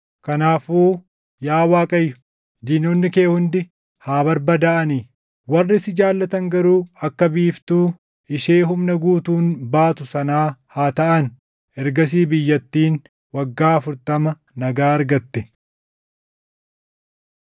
“Kanaafuu yaa Waaqayyo, diinonni kee hundi haa barbadaaʼani! Warri si jaallatan garuu akka biiftuu, ishee humna guutuun baatu sanaa haa taʼan.” Ergasii biyyattiin waggaa afurtama nagaa argatte.